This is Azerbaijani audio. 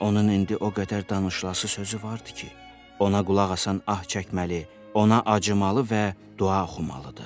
Onun indi o qədər danışlası sözü vardı ki, ona qulaq asan ah çəkməli, ona acımalı və dua oxumalıdır.